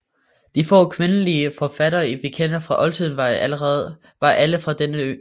De få kvindelige forfattere vi kender fra oldtiden var alle fra denne ø